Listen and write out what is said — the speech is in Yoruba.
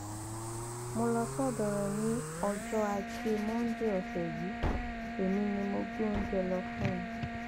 mo lọ sọdọ rẹ ní ọjọ ajé monde ọsẹ yìí èmi ni mo gbé oúnjẹ lọ fún un